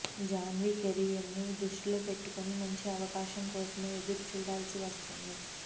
జాన్వి కెరీర్ను దృష్టిలో పెట్టుకుని మంచి అవకాశం కోసమే ఎదురు చూడాల్సి వస్తుంది